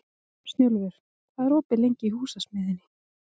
Snjólfur, hvað er opið lengi í Húsasmiðjunni?